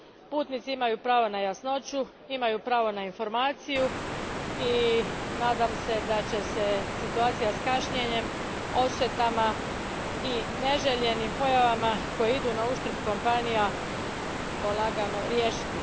Putnici imaju pravo na jasnoću i na informaciju, i nadam se da će se situacija s kašnjenjem, odštetama i neželjenim pojavama koje idu na uštrb kompanija polagano riješiti.